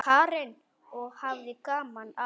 Karen: Og hafði gaman af?